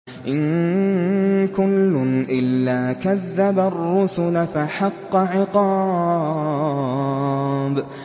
إِن كُلٌّ إِلَّا كَذَّبَ الرُّسُلَ فَحَقَّ عِقَابِ